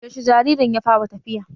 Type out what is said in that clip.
Yaushe jaririn ya fara tafiya?